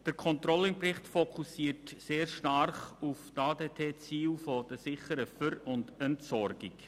Der Controlling-Bericht fokussiert sehr stark auf die ADTZiele der sicheren Ver- und Entsorgung.